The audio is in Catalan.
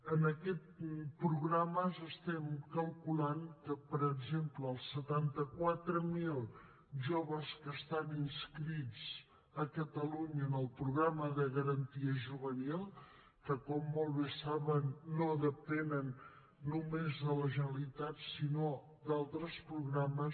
en aquests programes calculem que per exemple els setanta quatre mil joves que estan inscrits a catalunya en el programa de garantia juvenil que com molt bé saben no depenen només de la generalitat sinó d’altres programes